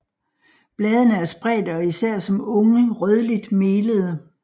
Bladene er spredte og især som unge rødligt melede